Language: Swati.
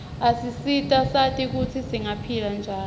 asisita sati kutsi singaphila njani